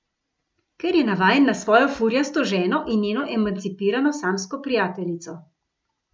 Ker je navajen na svojo furjasto ženo in njeno emancipirano, samsko prijateljico.